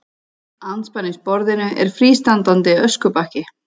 Andspænis borðinu er frístandandi öskubakki.